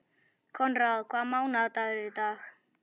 Konráð, hvaða mánaðardagur er í dag?